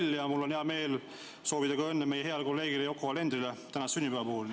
Ühtlasi on mul hea meel soovida õnne meie heale kolleegile Yoko Alenderile sünnipäeva puhul.